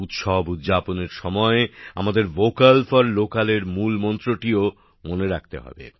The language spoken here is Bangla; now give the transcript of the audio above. উৎসব উদযাপনের সময় আমাদের ভোকাল ফর লোকালের মূলমন্ত্রটিও মনে রাখতে হবে